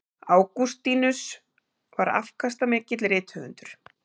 Ágústínus var afkastamikill rithöfundur.